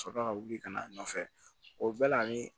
Sɔrɔ ka wuli ka n'a nɔfɛ o bɛɛ la ani